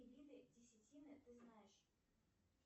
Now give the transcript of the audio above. виды десятины ты знаешь